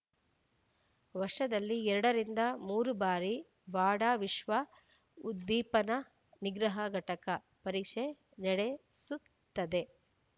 ವರ್ಷದಲ್ಲಿ ಎರಡು ರಿಂದ ಮೂರು ಬಾರಿ ವಾಡಾ ವಿಶ್ವ ಉದ್ದೀಪನ ನಿಗ್ರಹ ಘಟಕ ಪರೀಕ್ಷೆ ನಡೆಸುತ್ತದೆ